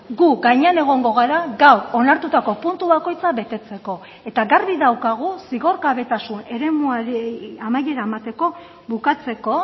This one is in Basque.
gu gainean egongo gara gaur onartutako puntu bakoitza betetzeko eta garbi daukagu zigorgabetasun eremuari amaiera emateko bukatzeko